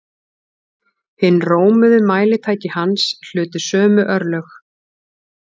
Hin rómuðu mælitæki hans hlutu sömu örlög.